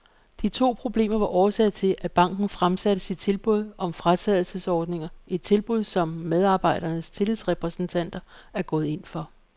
De to problemer var årsag til, at banken fremsatte sit tilbud om fratrædelsesordninger, et tilbud, som medarbejdernes tillidsrepræsentanter er gået ind for.